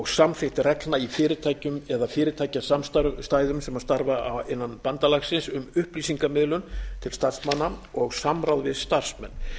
samþykkt reglna í fyrirtækjum eða fyrirtækjasamstæðum sem starfa innan bandalagsins um upplýsingamiðlun til starfsmanna og samráð við starfsmenn